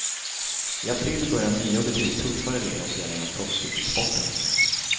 I april börjar nya och betydligt tuffare regler att gälla inom proffscykelsporten.